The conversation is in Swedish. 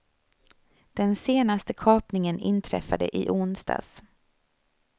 Den senaste kapningen inträffade i onsdags.